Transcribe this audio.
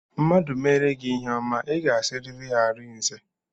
Mmadụ meere gị ihe ọma, I ga-asịrịrị ya arinze